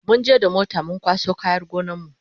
munje da mota mun kwaso kayan gonar mu